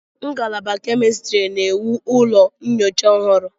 Ngalaba Chemistry na-ewu ụlọ nyocha ọhụrụ.